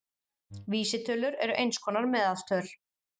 Vísitölur eru eins konar meðaltöl.